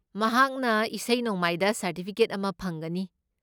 ꯃꯍꯥꯛꯅ ꯏꯁꯩ ꯅꯣꯡꯃꯥꯏꯗ ꯁꯔꯇꯤꯐꯤꯀꯦꯠ ꯑꯃ ꯐꯪꯒꯅꯤ꯫